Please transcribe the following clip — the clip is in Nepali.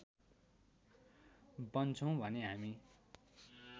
बन्छौँ भने हामी